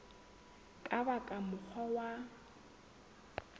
ka ba ka mokgwa wa